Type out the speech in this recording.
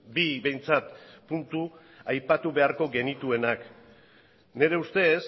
bi behintzat puntu aipatu beharko genituenak nire ustez